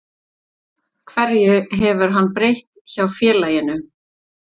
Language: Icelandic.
Hverju hefur hann breytt hjá félaginu?